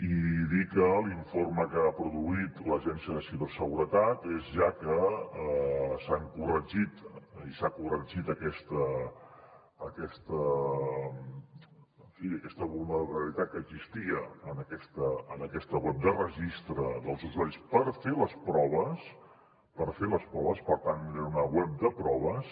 i dir que l’informe que ha produït l’agència de ciberseguretat és ja que s’ha corregit aquesta en fi vulnerabilitat que existia en aquesta web de registre dels usuaris per fer les proves per fer les proves per tant era una web de proves